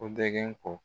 Ko dɛgɛ ko